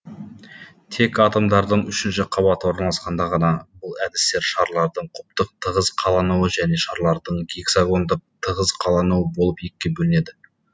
тек атомдардың үшінші қабаты орналасқанда ғана бұл әдістер шарлардың кубтық тығыз қалануы және шарлардың гексагондық тығыз қалануы болып екіге бөлінеді